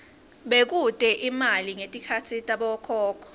bekute imali ngetikhatsi tabokhokho